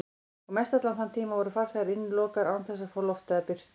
Og mestallan þann tíma voru farþegar innilokaðir án þess að fá loft eða birtu.